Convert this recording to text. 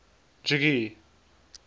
jogee